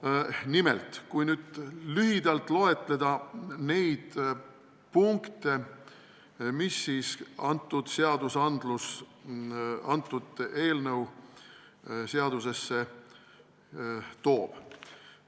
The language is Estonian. Aga loetlen nüüd lühidalt neid punkte, mida see eelnõu seadustes muudab.